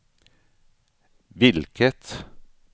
vilket